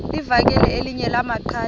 livakele elinye lamaqhaji